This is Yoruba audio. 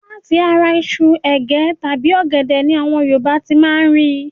Láti ara iṣu, ègé tàbí ọ̀gẹ̀dẹ̀ ni àwọn Yorùbá ti máa ń rí